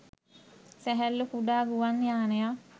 සැහැල්ලු කුඩා ගුවන් යානයක්